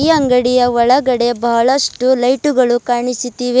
ಅಂಗಡಿ ಒಳಗಡೆ ಬಹಳಷ್ಟು ಲೈಟುಗಳು ಕಾಣಿಸುತ್ತಿವೆ.